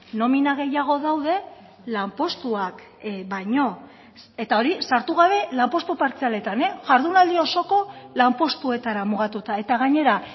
nomina gehiago daude lanpostuak baino eta hori sartu gabe lanpostu partzialetan jardunaldi osoko lanpostuetara mugatuta eta gainera